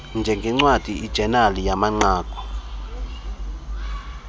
njengncwadi ijenali yamanqaku